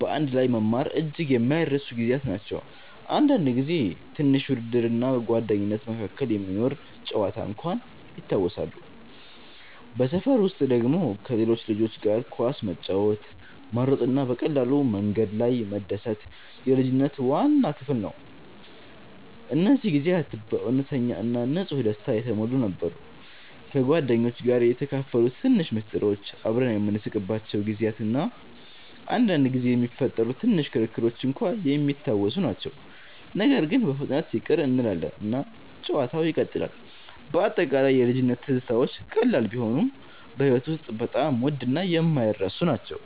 በአንድ ላይ መማር እጅግ የማይረሱ ጊዜያት ናቸው። አንዳንድ ጊዜ ትንሽ ውድድር እና ጓደኝነት መካከል የሚኖር ጨዋታ እንኳን ይታወሳሉ። በሰፈር ውስጥ ደግሞ ከሌሎች ልጆች ጋር ኳስ መጫወት፣ መሮጥ እና በቀላሉ በመንገድ ላይ መደሰት የልጅነት ዋና ክፍል ነው። እነዚህ ጊዜያት በእውነተኛ እና ንጹህ ደስታ የተሞሉ ነበሩ። ከጓደኞች ጋር የተካፈሉት ትንሽ ምስጢሮች፣ አብረን የምንስቅባቸው ጊዜያት እና አንዳንድ ጊዜ የሚፈጠሩ ትንሽ ክርክሮች እንኳን የሚታወሱ ናቸው። ነገር ግን በፍጥነት ይቅር እንላለን እና ጨዋታው ይቀጥላል። በአጠቃላይ የልጅነት ትዝታዎች ቀላል ቢሆኑም በሕይወት ውስጥ በጣም ውድ እና የማይረሱ ናቸው።